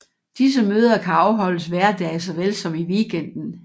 Disse møder kan afholdes hverdage såvel som i weekenden